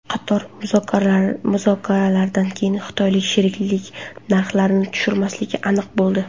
Qator muzokaralardan keyin xitoylik sheriklar narxni tushirmasliklari aniq bo‘ldi.